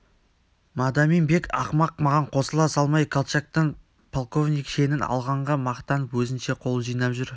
мадамин-бек ақымақ маған қосыла салмай колчактан полковник шенін алғанға мақтанып өзінше қол жинап жүр